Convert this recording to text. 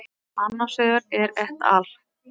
Annar vegar er et al.